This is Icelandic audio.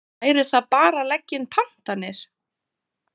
Væri það bara að leggja inn pantanir?